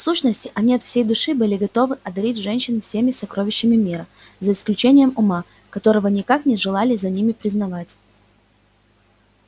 в сущности они от всей души были готовы одарить женщин всеми сокровищами мира за исключением ума которого никак не желали за ними признавать